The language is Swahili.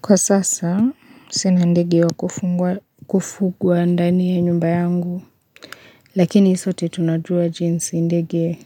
Kwa sasa, sina ndege wa kufugwa ndani ya nyumba yangu. Lakini sote tunajua jinsi ndege